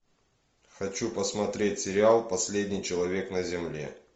хочу посмотреть сериал последний человек на земле